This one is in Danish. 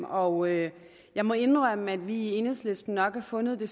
og jeg jeg må indrømme at vi i enhedslisten nok har fundet at